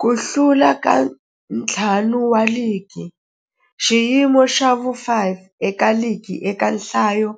Ku hlula ka ntlhanu wa ligi xiyimo xa vu-5 eka ligi eka nhlayo